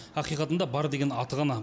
ақиқатында бар деген аты ғана